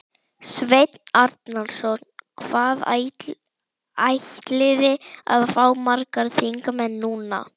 Sveinn Arnarson: Hvað ætliði að fá margar þingmenn núna?